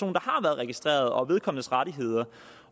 registreret og vedkommendes rettigheder